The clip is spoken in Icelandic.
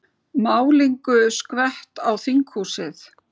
Málningu skvett á þinghúsið